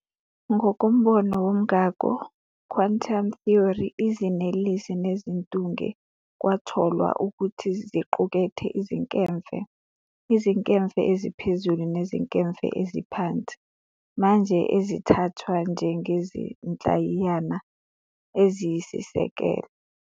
Ngokombono womngako "quantum theory", izinelesi nezintunge kwatholwa ukuthi ziqukethe izinkemfe - izinkemfe eziphezulu nezinkemfe eziphansi - manje ezithathwa njengezinhlayiyana eziyisiseko.